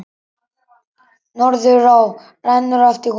Norðurá rennur eftir honum.